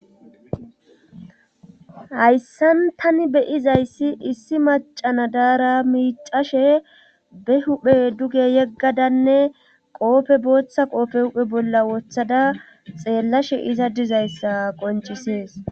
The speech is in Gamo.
hayssan tani beyiza issi issi macana daara miicashe be huphe duge yeggadanne qoobe booththa qoobe huphe bolla wothada xeellashe iza dizayssa qoncisees